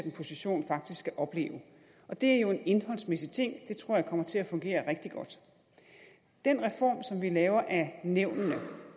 position faktisk skal opleve og det er jo en indholdsmæssig ting det tror jeg kommer til at fungere rigtig godt den reform som vi laver af nævnene